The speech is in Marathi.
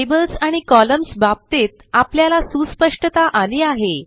टेबल्स आणि कॉलम्न्स बाबतीत आपल्याला सुस्पष्टता आली आहे